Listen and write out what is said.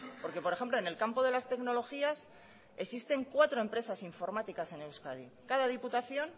porque por ejemplo en el campo de las tecnologías existen cuatro empresas informáticas en euskadi cada diputación